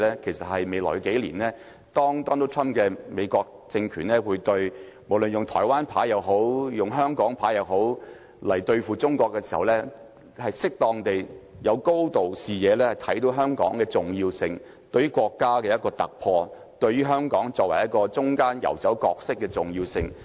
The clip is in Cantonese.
其實，在未來幾年，不論 Donald TRUMP 的美國政權是用"台灣牌"或"香港牌"對付中國時，香港特首也要有適當的高度和視野，看到香港的重要性，即對於香港作為國家一個突破點，作為中間游走角色的重要性。